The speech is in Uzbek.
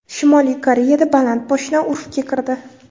Shimoliy Koreyada baland poshna urfga kirdi.